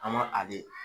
An ma a be